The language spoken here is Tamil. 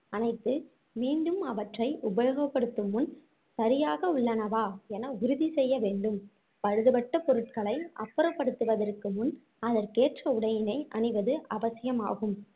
அணைத்து மீண்டும் அவற்றை உபயோகப்படுத்தும் முன் சரியாக உள்ளனவா என உறுதி செய்ய வேண்டும் பழுதுபட்ட பொருட்களை அப்புறப்படுத்துவதற்கு முன் அதற்கேற்ற உடையினை அணிவது அவசியம் ஆகும்